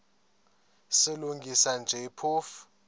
silungisa nje phofu